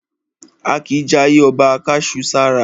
A kìí jayé ọba ká su sára.